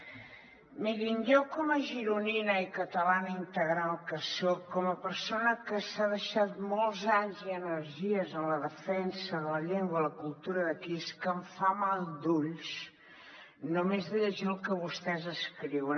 mirin a mi com a gironina i catalana integral que soc com a persona que s’ha deixat molts anys i energies en la defensa de la llengua i de la cultura d’aquí és que em fa mal d’ull només llegir el que vostès escriuen